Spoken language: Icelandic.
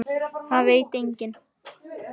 Það veit enginn